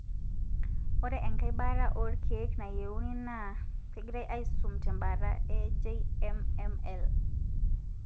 Ore enkae baata olkeek nayieuni na kengirae aisum te mbaata e JMML.